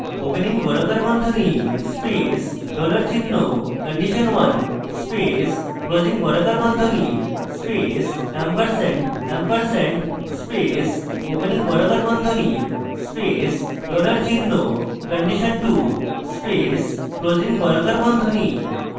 opening বর্গাকার বন্ধনী space dollar চিহ্ন condition1 space closing বর্গাকার বন্ধনী space ampersand ampersand space opening বর্গাকার বন্ধনী space dollar চিহ্ন condition 2 space closing বর্গাকার বন্ধনী